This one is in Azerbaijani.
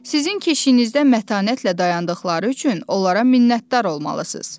Sizin keşiyinizdə mətanətlə dayandıqları üçün onlara minnətdar olmalısınız.